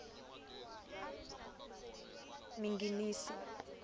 minginisi